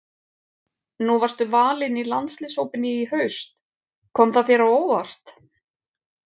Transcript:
Nú varstu valinn í landsliðshópinn í haust, kom það þér á óvart?